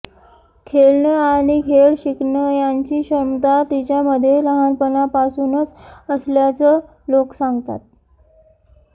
खेळणं आणि खेळ शिकणं यांची क्षमता तिच्यामध्ये लहानपणापासूनच असल्याचं लोक सांगतात